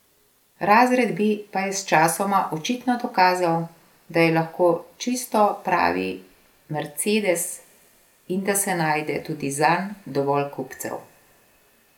Razred B pa je sčasoma očitno dokazal, da je lahko čisto pravi mercedes in da se najde tudi zanj dovolj kupcev.